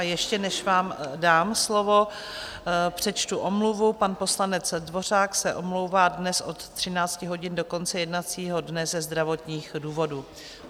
A ještě než vám dám slovo, přečtu omluvu, pan poslanec Dvořák se omlouvá dnes od 13 hodin do konce jednacího dne ze zdravotních důvodů.